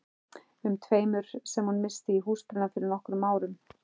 um tveimur sem hún missti í húsbruna fyrir nokkrum árum.